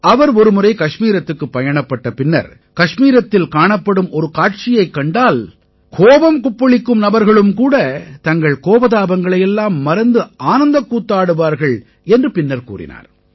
அவர் ஒருமுறை கஷ்மீரத்துக்குப் பயணப்பட்ட பின்னர் கஷ்மீரத்தில் காணப்படும் ஒரு காட்சியைக் கண்டால் கோபம் கொப்பளிக்கும் நபர்களும் கூட தங்கள் கோபதாபங்களை எல்லாம் மறந்து ஆனந்தக் கூத்தாடுவார்கள் என்று பின்னர் கூறினார்